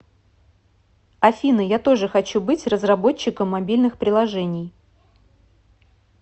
афина я тоже хочу быть разработчиком мобильных приложений